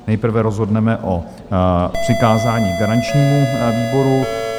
Nejprve rozhodneme o přikázání garančnímu výboru.